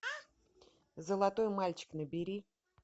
золотой мальчик набери